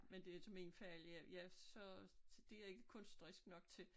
Men det er til min fejl jeg jeg så det jeg ikke kunstnerisk nok til